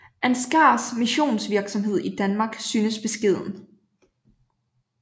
Ansgars missionsvirksomhed i Danmark synes beskeden